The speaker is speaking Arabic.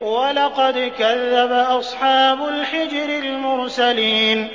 وَلَقَدْ كَذَّبَ أَصْحَابُ الْحِجْرِ الْمُرْسَلِينَ